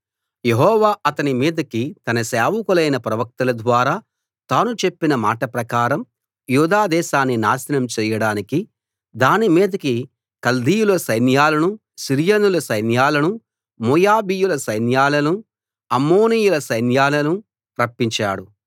యెహోవా అతని మీదకి తన సేవకులైన ప్రవక్తల ద్వారా తాను చెప్పిన మాట ప్రకారం యూదాదేశాన్ని నాశనం చెయ్యడానికి దాని మీదకి కల్దీయుల సైన్యాలను సిరియనుల సైన్యాలను మోయాబీయుల సైన్యాలను అమ్మోనీయుల సైన్యాలను రప్పించాడు